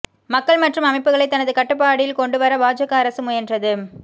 மக்கள் மற்றும் அமைப்புகளை தனது கட்டுப்பாடில் கொண்டுவர பாஜக அரசு முயன்றது